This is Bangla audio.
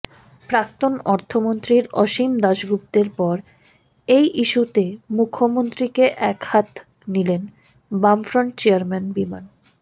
প্রাক্তন অর্থমন্ত্রীর অসীম দাশগুপ্তের পর এই ইস্যুতে মুখ্যমন্ত্রীকে একহাত নিলেন বামফ্রন্ট চেয়ারম্যান বিমান